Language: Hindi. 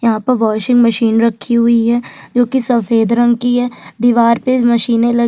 यहाँ पर वॉशिंग मशीन रखी हुई है जो की सफेद रंग कि है दिवार पे मशीने लगी--